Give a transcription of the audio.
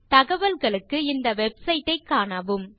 தகவல்களுக்கு இந்த வெப்சைட் ஐக் காணவும்